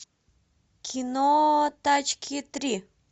кино тачки три